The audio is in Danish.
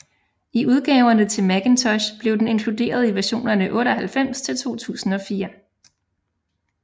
I udgaverne til Macintosh blev den inkluderet i versionerne 98 til 2004